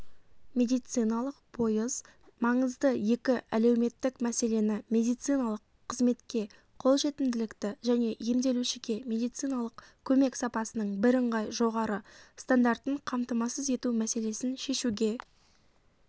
медициналық пойыз маңызды екі әлеуметтік мәселені медициналық қызметке қолжетімділікті және емделушіге медициналық көмек сапасының бірыңғай жоғары стандартын қамтамасыз ету мәселесін шешуге